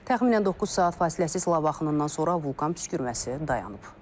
Təxminən 9 saat fasiləsiz lava axınından sonra vulkan püskürməsi dayanıb.